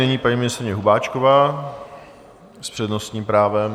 Nyní paní ministryně Hubáčková s přednostním právem.